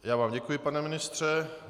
Já vám děkuji, pane ministře.